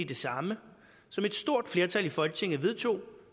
det samme som et stort flertal i folketinget vedtog